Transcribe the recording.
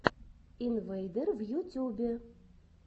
инвейдер в ютюбе